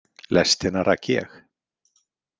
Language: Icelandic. Lestina rak ég.